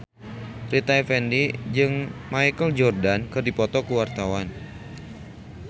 Rita Effendy jeung Michael Jordan keur dipoto ku wartawan